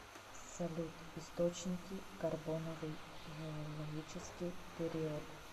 салют источники карбоновый геологический период